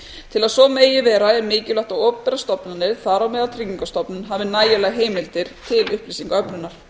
til að svo dag vera er mikilvægt að opinberar stofnanir þar á meðal tryggingastofnun hafi nægilegar heimildir til upplýsingaöflunar